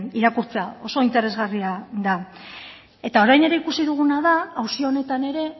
irakurtzea oso interesgarria da eta orain ere ikusi duguna da auzi honetan ere